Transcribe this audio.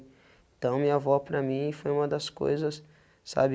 Então, minha avó para mim foi uma das coisas, sabe?